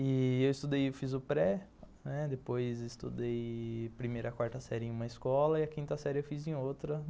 Eu estudei e fiz o pré, né, depois estudei primeira e quarta série em uma escola e a quinta série eu fiz em outra.